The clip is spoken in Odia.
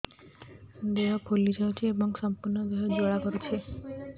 ଦେହ ଫୁଲି ଯାଉଛି ଏବଂ ସମ୍ପୂର୍ଣ୍ଣ ଦେହ ଜ୍ୱାଳା କରୁଛି